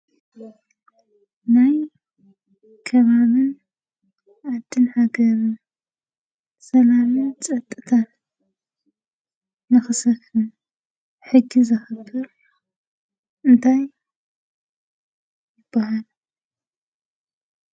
ናይ ከባቢን ዓድን ሃገርን ሰላምን ፀጥታን ንኽሰፍን ሕጊ ዘኽብር እንታይ ይበሃል?